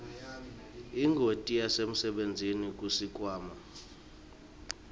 ingoti yasemsebentini kusikhwama